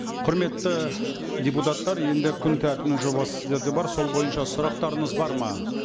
құрметті депутаттар енді күн тәртібінің жобасы сіздерде бар сол бойынша сұрақтарыңыз бар ма